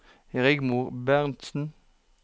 Rigmor Bentsen